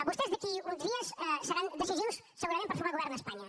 vostès d’aquí a uns dies seran decisius segurament per formar govern a espanya